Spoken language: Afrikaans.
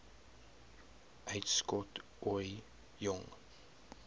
uitskot ooie jong